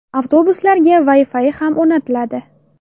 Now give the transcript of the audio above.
Avtobuslarga Wi-Fi ham o‘rnatiladi.